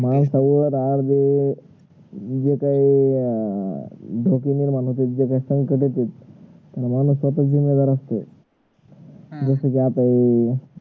माणसावर जे आता जे जे काही अह धोके निर्माण होतेत जे काही संकट येतेत माणूस त्याच जिम्मेदार असते जस कि आता हे